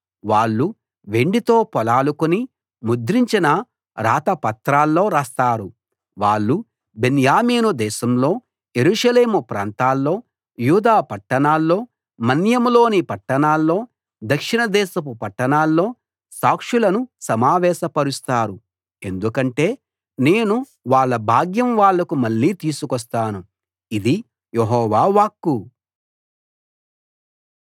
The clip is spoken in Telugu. వాళ్ళు వెండితో పొలాలు కొని ముద్రించిన రాత పత్రాల్లో రాస్తారు వాళ్ళు బెన్యామీను దేశంలో యెరూషలేము ప్రాంతాల్లో యూదా పట్టణాల్లో మన్యంలోని పట్టణాల్లో దక్షిణదేశపు పట్టణాల్లో సాక్షులను సమావేశపరుస్తారు ఎందుకంటే నేను వాళ్ళ భాగ్యం వాళ్లకు మళ్ళీ తీసుకొస్తాను ఇది యెహోవా వాక్కు